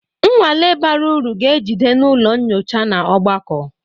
Nnwale bara uru ga-ejide n'ụlọ nyocha na ogbako